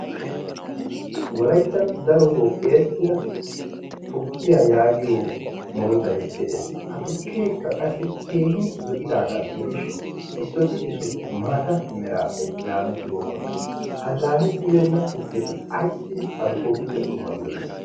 wolaittan darotoo erettida tukkiyaa yaagiyo murutai de7ees. ha tukkeekka qassi keehin zo7idaagaa gidishin issooti issooti maata meraappe laamettibookkona ha laamettibeenna tukketi aissi hankkootuppe dummatidona?